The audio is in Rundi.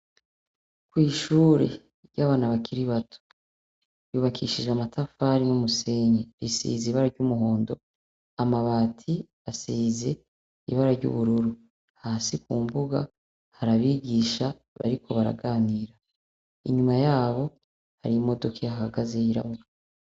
Kw’ishure ry’abana bakiri bato, ryubakishije amatafari n’umusenyi, risize ibara ry’umuhondo. Amabati asize ibara ry’ubururu. Hasi ku mbuga hari abigisha bariko baraganira. Inyuma yabo hari imodoka ihahagaze yirabura.